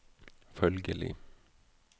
følgelig